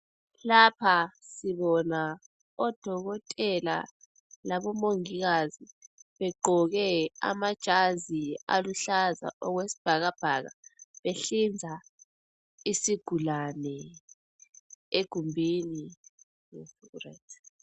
Lapha sibona odokotela labomongikazi begqoke amajazi aluhlaza okwesibhakabhaka, behlinza isigulane egumbini.